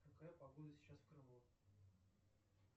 какая погода сейчас в крыму